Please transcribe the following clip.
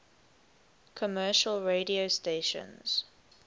commercial radio stations